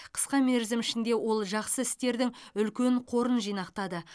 қысқа мерзім ішінде ол жақсы істердің үлкен қорын жинақтады